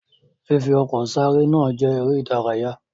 Fifi ọkọ̀ sáré náà jẹ eré ìdárayá.